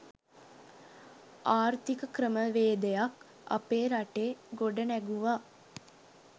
ආර්ථික ක්‍රමවේදයක් අපේ රටේ ගොඩනැගුවා